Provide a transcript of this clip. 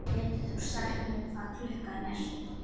Getur þú sagt mér hvað klukkan er?